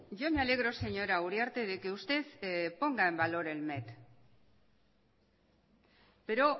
yo me alegro señora uriarte de que usted ponga en valor el met pero